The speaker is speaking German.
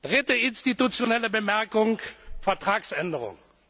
Dritte institutionelle Bemerkung Vertragsänderung.